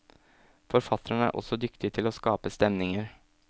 Forfatteren er også dyktig til å skape stemninger.